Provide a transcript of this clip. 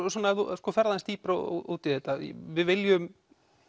ef þú ferð aðeins dýpra út í þetta við viljum